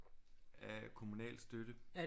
Af kommunal støtte